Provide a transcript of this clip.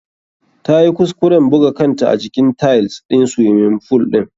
Ta yi kuskuren buga kanta a jikin tiles ɗin swiming fool ɗin.